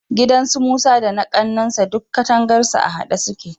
Gidan su Musa da na ƙannansa duk katangarsu a haɗe suke.